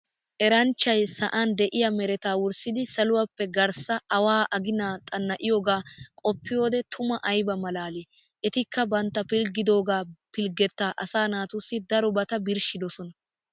Eranchchay za'an de'iya meretta wurssidi saluwappe garssaa awaa aginaa xanna'iyogaa qoppiyode tima ayba malaalii. Etikka bantta pilggidido pilggetta asaa naatussi darobata birshshidosona.